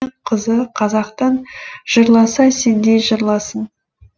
қызы қазақтың жырласа сендей жырласын